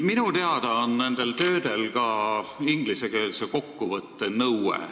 Minu teada nõutakse nende tööde puhul ka ingliskeelset kokkuvõtet.